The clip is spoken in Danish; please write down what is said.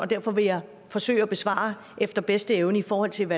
derfor vil jeg forsøge at besvare efter bedste evne i forhold til